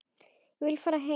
Ég vil fara heim.